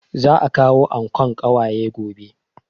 Za a kawo ankon ƙawaye gobe